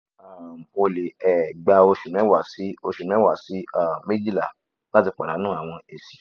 um o le um gba osu mewa si osu mewa si um mejila lati padanu awọn esi